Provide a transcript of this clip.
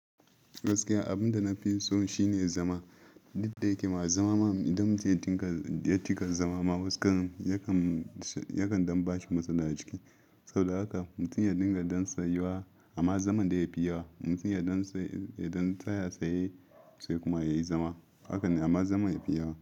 Gaskiya abinda nafi so shine zama, duk da yake ma zama idan muke dinga zama, yakan ba shi matsala a jiki. Saboda haka mutum ya dinga dan tsayuwa amma zaman dai yafi yawa. Mutum ya dan tsa-- ya dan tsaya tsaye sai kuma yayi zama, hakan ne amma zaman yafi yawa.